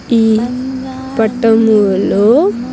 ఈ పటము లో.